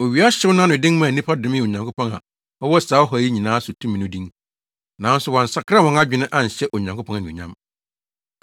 Owia hyew no anoden maa nnipa domee Onyankopɔn a ɔwɔ saa ɔhaw yi nyinaa so tumi no din. Nanso wɔansakra wɔn adwene anhyɛ Onyankopɔn anuonyam.